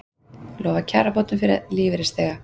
Lofa kjarabótum fyrir lífeyrisþega